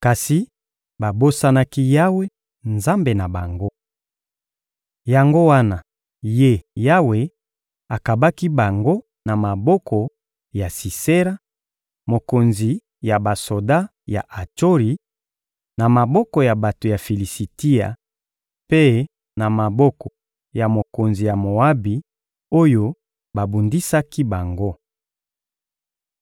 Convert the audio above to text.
Kasi babosanaki Yawe, Nzambe na bango. Yango wana Ye Yawe akabaki bango na maboko ya Sisera, mokonzi ya basoda ya Atsori; na maboko ya bato ya Filisitia mpe na maboko ya mokonzi ya Moabi oyo babundisaki bango.